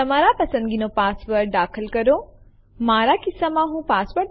પહેલાંની જેમ ડેમો1 જોવા માટે લખો lshomeઅનિર્બાણ અને Enter ડબાઓ